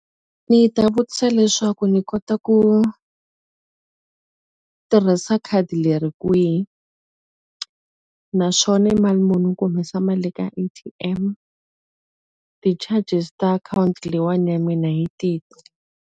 Ndzi ta vutisa leswaku ndzi kota ku tirhisa khadi leri kwihi? Naswona i mali muni ku humesa mali ka A_T_M? Ti-charges ta akhawunti leyiwani ya mina hi tihi?